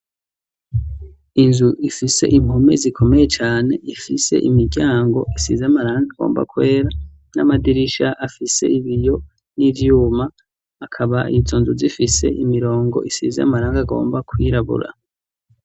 Inzu ifise impume zikomeye cyane, ifise imiryango isize amarangi gomba kwera, n'amadirisha afise ibiyo n'ivyuma, akaba izo nzu zifise imirongo isize amarangi agomba kwirabura.